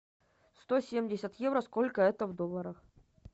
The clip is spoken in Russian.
сто семьдесят евро сколько это в долларах